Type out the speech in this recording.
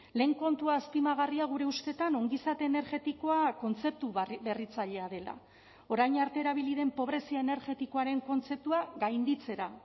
lehen kontua azpimagarria gure ustetan ongizate energetikoa kontzeptu berritzailea dela orain arte erabili den pobrezia energetikoaren kontzeptua gainditzera